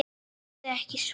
ef þau ekki svara